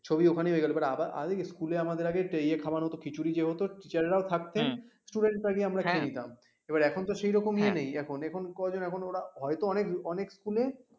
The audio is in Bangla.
ছবি ওখানেই হয়ে গেল but আগে কি স্কুল আগে আমাদের ইয়ে খাওয়ানো হতো খিচুড়ি যে হত teacher ও থাকতেন student গিয়ে আমরা খেয়ে নিতাম এবার এখন তো সেই রকম ইয়ে নেই এখন কজন এখন ওরা হয়তো অনেক অনেক স্কুল